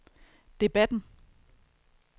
debatten